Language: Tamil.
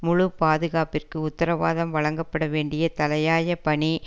முழு பாதுகாப்பிற்கு உத்தரவாதம் வழங்கப்பட வேண்டிய தலையாய பணி